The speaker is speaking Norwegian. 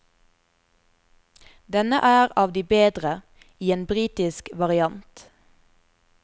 Denne er av de bedre, i en britisk variant.